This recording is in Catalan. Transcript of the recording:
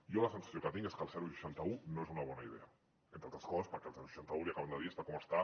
jo la sensació que tinc és que el seixanta un no és una bona idea entre altres coses perquè el seixanta un l’hi acaben de dir està com està